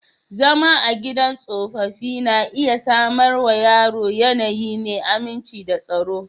Zama a gidan tsofaffi na iya samar wa yara yanayi mai aminci da tsaro.